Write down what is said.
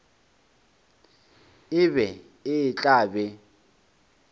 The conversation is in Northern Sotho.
e be e tla be